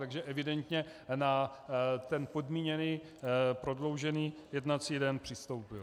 Takže evidentně na ten podmíněný prodloužený jednací den přistoupil.